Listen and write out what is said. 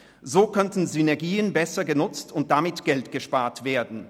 So könnten Synergien besser genutzt und damit Geld gespart werden.